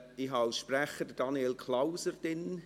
Ich habe als Sprecher Daniel Klauser vermerkt.